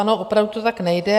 Ano, opravdu to tak nejde.